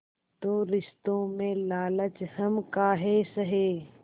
तो रिश्तों में लालच हम काहे सहे